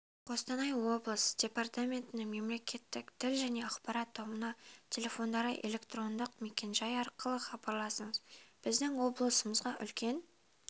қостанай облысы департаментінің мемлекеттік тіл және ақпарат тобына телефондары электрондық мекенжайы арқылы хабарласыңыз біздің облысымызға үлкен